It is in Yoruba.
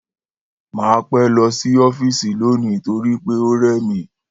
Màá pé̩ lo̩ sí ó̩fíìsì lónìí nítorí pé ó rè̩ mí